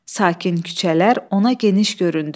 Sakin küçələr ona geniş göründü.